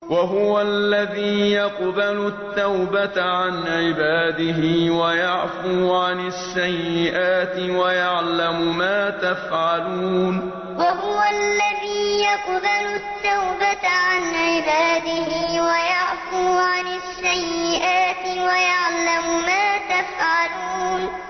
وَهُوَ الَّذِي يَقْبَلُ التَّوْبَةَ عَنْ عِبَادِهِ وَيَعْفُو عَنِ السَّيِّئَاتِ وَيَعْلَمُ مَا تَفْعَلُونَ وَهُوَ الَّذِي يَقْبَلُ التَّوْبَةَ عَنْ عِبَادِهِ وَيَعْفُو عَنِ السَّيِّئَاتِ وَيَعْلَمُ مَا تَفْعَلُونَ